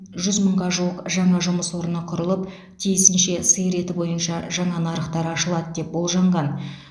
жүз мыңға жуық жаңа жұмыс орны құрылып тиісінше сиыр еті бойынша жаңа нарықтар ашылады деп болжанған